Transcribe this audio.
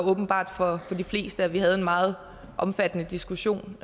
åbenbart for de fleste at vi havde en meget omfattende diskussion